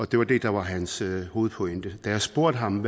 det var det der var hans hovedpointe da jeg spurgte ham